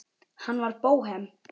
Hann var bóhem.